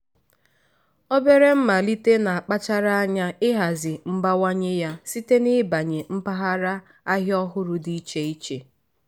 obere mmalite na-akpachara anya ihazi mbawanye ya site n'ibanye mpaghara ahịa ọhụrụ dị iche iche.